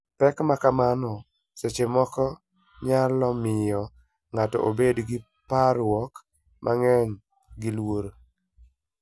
Pek ma kamago seche moko nyalo miyo ng'ato obed gi parruok mang'eny. Gi luor